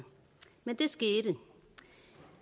men det skete